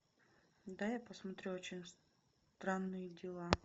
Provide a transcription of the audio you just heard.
дай я посмотрю очень странные дела